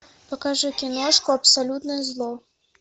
покажи киношку абсолютное зло